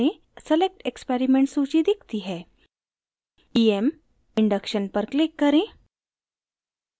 select experiment सूची दिखती है em induction पर click करें